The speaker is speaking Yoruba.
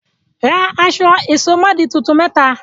Ra aṣọ ìsomọ́ọ̀dí tuntun mẹ́ta!